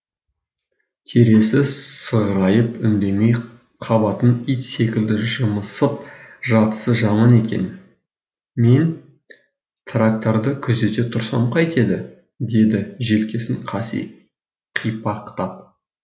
терезесі сығырайып үндемей қабатын ит секілді жымсып жатысы жаман екен мен тракторды күзете тұрсам қайтеді деді желкесін қаси қипақтап